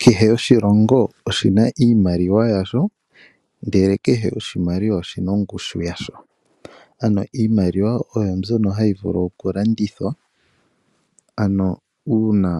Kehe oshilongo oshi na iimaliwa yasho, ndele kehe oshimaliwa oshi na ongushu yasho. Ano iimaliwa oyo mbyono hayi vulu okulandithwa, ano uuna